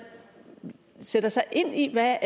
sætter sig ind i hvad